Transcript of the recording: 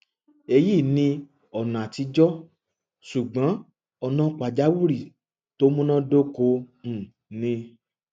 eyi ni ona atijo sugbon ona pajawiri to munadoko um ni